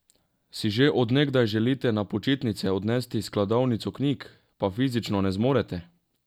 Si že od nekdaj želite na počitnice odnesti skladovnico knjig, pa fizično ne zmorete?